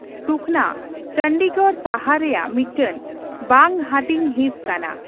ᱥᱩᱠᱷᱚᱱᱟ ᱪᱚᱱᱰᱤᱜᱚᱲ ᱥᱟᱦᱟᱨ ᱨᱮᱭᱟᱜ ᱢᱤᱫᱴᱟᱝ ᱵᱟᱝᱦᱟᱹᱴᱤᱧ ᱦᱤᱸᱥ ᱠᱟᱱᱟ ᱾